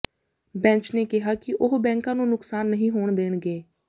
bench ਨੇ ਕਿਹਾ ਕਿ ਉਹ ਬੈਂਕਾਂ ਨੂੰ ਨੁਕਸਾਨ ਨਹੀਂ ਹੋਣ ਦੇਣਗੇ